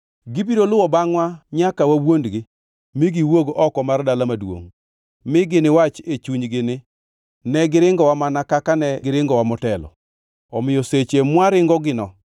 Gibiro luwo bangʼwa nyaka wawuondgi mi giwuog oko mar dala maduongʼ, mi giniwach e chunygi ni, ‘Ne, giringowa mana kaka ne giringowa motelo.’ Omiyo seche mwaringogino